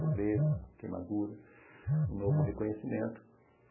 Pobreza, queimadura, um novo reconhecimento.